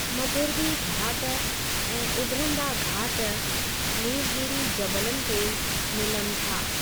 मग़िरबी घाट ऐं उभिरंदा घाट नीलगीरी ज़बलनि ते मिलनि था।